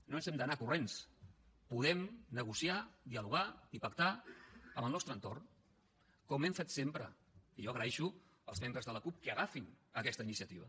no ens n’hem d’anar corrents podem negociar dialogar i pactar amb el nostre entorn com hem fet sempre i jo agraeixo als membres de la cup que agafin aquesta iniciativa